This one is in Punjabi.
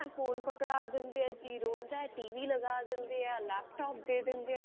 ਫੋਨ ਪਕੜਾ ਦਿੰਦੇ ਆ ਜੀ ਰੋਂਦਾ t.v ਲਗਾ ਦਿੰਦੇ ਆ laptop ਦੇ ਦਿੰਦੇ ਆ